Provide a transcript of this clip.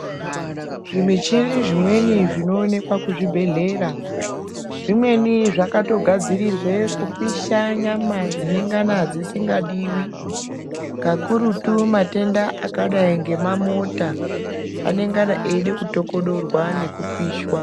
Zvimichini zvimweni zvinoonekwa kuzvibhedhlera zvimweni zvakatogadzirirwe kupisha nyama dzinengana dzisingadiwi kakurutu matenda akadai ngemamota anengana eida kutokodorwa nekupishwa.